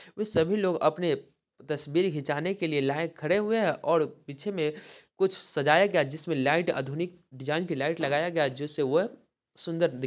व सभी लोग अपने तस्वीर घिचाने के लिए लाइन खड़े हुए हैं और पीछे में कुछ सजाया गया जिसमें लाइट आधुनिक डिजाइन की लाइट लगाया गया जिससे वह सुंदर दी --